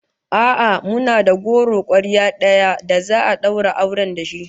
A'a, muna da goro kwarya daya da za'a daura auren da shi